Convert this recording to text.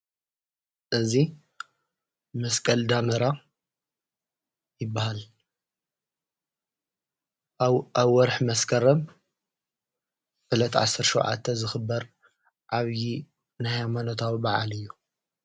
ነዙይ መስቀል ዳምራ ይበሃል ኣብ ወርኅ መስከረም ብለት ዓሠርሸዉዓተ ዝኽበር ዓብዪ ናይ መነታዊ በዓል እዩ።